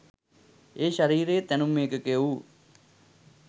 ඒ ශරීරයේ තැනුම් ඒකකය වූ